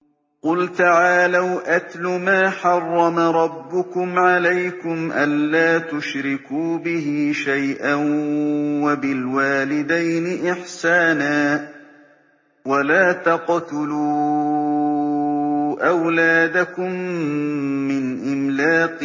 ۞ قُلْ تَعَالَوْا أَتْلُ مَا حَرَّمَ رَبُّكُمْ عَلَيْكُمْ ۖ أَلَّا تُشْرِكُوا بِهِ شَيْئًا ۖ وَبِالْوَالِدَيْنِ إِحْسَانًا ۖ وَلَا تَقْتُلُوا أَوْلَادَكُم مِّنْ إِمْلَاقٍ ۖ